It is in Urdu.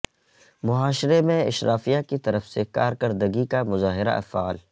معاشرے میں اشرافیہ کی طرف سے کارکردگی کا مظاہرہ افعال